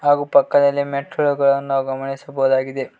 ಹಾಗೆ ಪಕ್ಕದಲ್ಲಿ ಮೆಟ್ಟಿಲುಗಳನ್ನು ನಾವು ಗಮನಿಸಬಹುದಾಗಿದೆ.